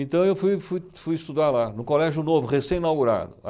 Então eu fui fui fui estudar lá, no Colégio Novo, recém-inaugurado.